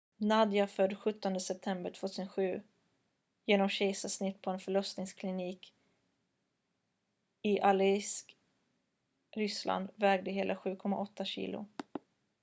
nadia född den 17 september 2007 genom kejsarsnitt på en förlossningsklinik i aleisk ryssland vägde hela 7,8 kilo